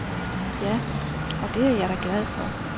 Ja, og det er jeg da glad for.